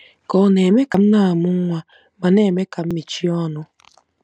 Ka ọ̀ na-eme ka m na-amụ nwa ma na-eme ka m mechie ọnụ? '